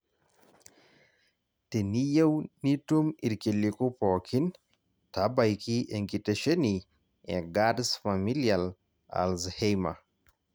teneyieu nitum irkiliku pookin taabaiki enkitesheni e GARD's familial Alzheimer